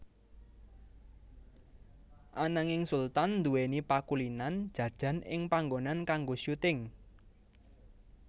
Ananging Sultan nduwèni pakulinan jajan ing panggonan kanggo syuting